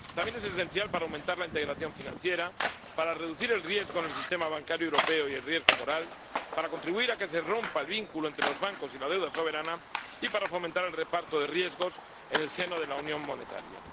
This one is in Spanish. también es esencial para aumentar la integración financiera, para reducir el riesgo en el sistema bancario europeo y el riesgo moral, para contribuir a que se rompa el vínculo entre los bancos y la deuda soberana, y para fomentar el reparto de riesgos en el seno de la unión monetaria.